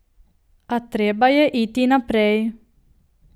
A treba je iti naprej.